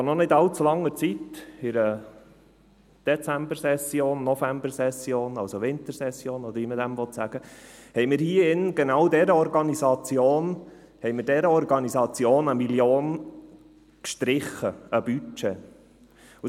Vor noch nicht allzu langer Zeit, in der Dezembersession, Novembersession, Wintersession oder wie man dem sagen will, haben wir hier in diesem Saal genau dieser Organisation 1 Mio. Franken an Budget gestrichen.